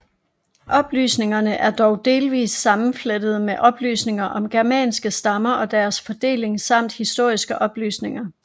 Oplysningerne er dog delvist sammenflettede med oplysninger om germanske stammer og deres fordeling samt historiske oplysninger